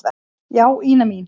Já, Ína mín.